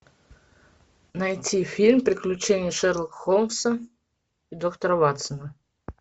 найти фильм приключения шерлока холмса и доктора ватсона